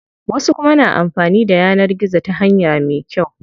Wasu kuma na amfanin da yanar gizo ta hanya me kyau.